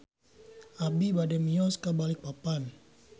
Abi bade mios ka Balikpapan